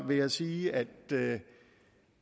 vil jeg sige at